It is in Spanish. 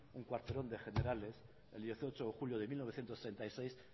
un cuarterón de generales el dieciocho de julio de mil novecientos treinta y seis